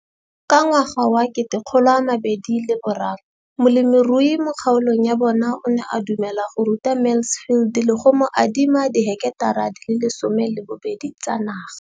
Ka ngwaga wa 2013, molemirui mo kgaolong ya bona o ne a dumela go ruta Mansfield le go mo adima di heketara di le 12 tsa naga.